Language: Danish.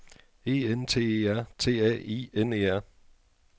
E N T E R T A I N E R